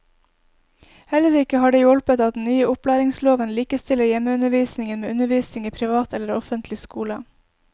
Heller ikke har det hjulpet at den nye opplæringsloven likestiller hjemmeundervisningen med undervisning i privat eller offentlig skole.